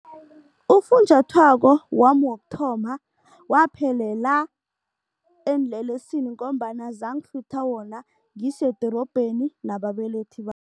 Ufunjathwako wami wokuthoma waphelela eenlelesini ngombana zangihlutha wona ngisedorobheni nababelethi